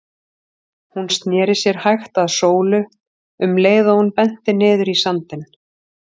Hún sneri sér hægt að Sólu um leið og hún benti niður í sandinn.